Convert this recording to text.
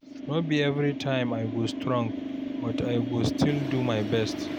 No be every time I go strong, but I go still do my best.